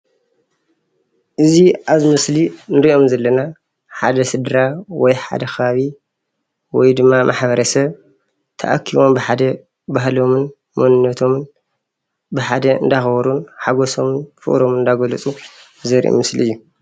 እዚ ኣብዚ ምስሊ እንርእዮም ዘለና ሓደ ስድራ ወይ ሓደ ከባቢ ወይ ድማ ማሕበረሰብ ተኣኪቦም ብሓደ ባህሎምን መንነቶምን ብሓደ እንዳኣክበሩ ሓጎሶምን ፍቅሮምን እናገለጹ ዘርኢ ምስሊ እዩ።